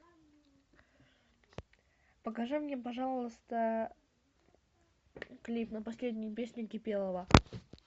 покажи мне пожалуйста клип на последнюю песню кипелова